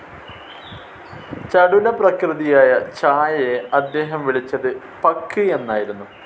ചടുലപ്രകൃതിയായ ഛായയെ അദ്ദേഹം വിളിച്ചത് പക്ക്‌ എന്നായിരുന്നു.